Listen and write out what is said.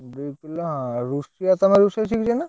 ଦି କିଲ ରୁଷେଇଆ ତମେ ରୁଷେଇ ଶିଖିଛ ନା?